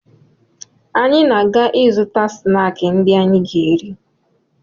Anyị na-aga ịzụta snaakị ndị anyị ga-eri